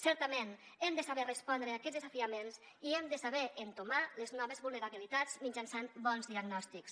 certament hem de saber respondre a aquests desafiaments i hem de saber entomar les noves vulnerabilitats mitjançant bons diagnòstics